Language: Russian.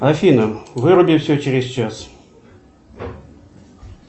афина выруби все через час